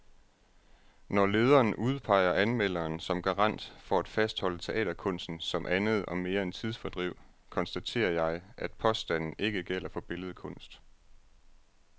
Når lederen udpeger anmelderen som garant for at fastholde teaterkunsten som andet og mere end tidsfordriv, konstaterer jeg, at påstanden ikke gælder for billedkunst.